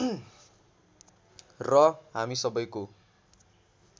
र हामी सबैको